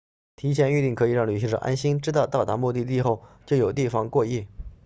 提前预订可以让旅行者安心知道到达目的地后就有地方过夜